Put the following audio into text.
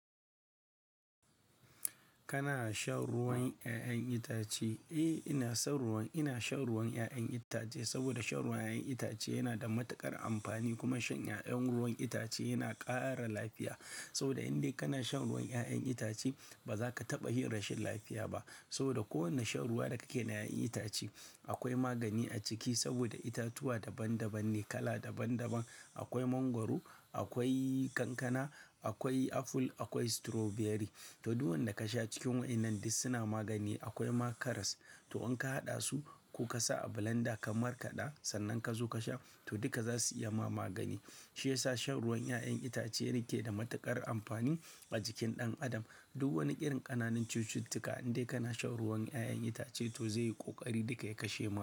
Kana shan ruwan ƴaƴan itace? Eh, ina shan ruwan, ina shan ruwan ƴaƴan itace saboda shan ruwan ƴaƴan itace yana da matuƙar amfani kuma shan ƴaƴan ruwan itace yana ƙara lafiya. Saboda in dai kana shan ruwan ƴaƴan itace, ba za ka taɓa yin rashin lafiya ba. Saboda kowane shan ruwa da kake na ƴaƴan itace akwai magani a ciki saboda itatuwa daban daban ne, kala daban daban. Akwai mangwaro, akwai kankana, akwai aful, akwai strawberry. To, duk wanda ka sha cikin waƴannan dai suna magani. Akwai ma karas, to in ka haɗa su ko ka sa a blender ka markada sannan ka zo ka sha, to duka za su iya ma magani. Shiyasa shan ruwan ƴaƴan itace yake da matuƙar amfani a jikin ɗan adam. Duk wani irin ƙananan cututtuka in dai kana shan ruwan ƴaƴan itace to zai yi ƙoƙari duka ya kashe mu.